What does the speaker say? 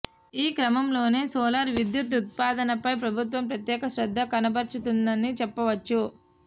ఈ క్రమంలోనే సోలార్ విద్యుత్ ఉత్పాదనపై ప్రభుత్వం ప్రత్యేక శ్రద్ధ కనబర్చుతున్నదని చెప్పొచ్చు